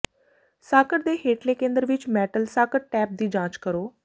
socket ਦੇ ਹੇਠਲੇ ਕੇਂਦਰ ਵਿੱਚ ਮੈਟਲ ਸਾਕਟ ਟੈਬ ਦੀ ਜਾਂਚ ਕਰੋ